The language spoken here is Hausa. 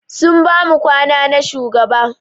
Sun bamu kwana na shugaba.